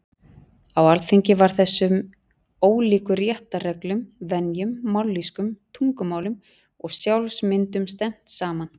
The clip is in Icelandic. Á Alþingi var þessum ólíku réttarreglum, venjum, mállýskum, tungumálum og sjálfsmyndum stefnt saman.